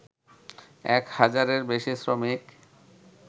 এক হাজারের বেশি শ্রমিক